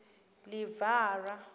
livhara